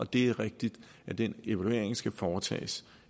det er rigtigt at den evaluering skal foretages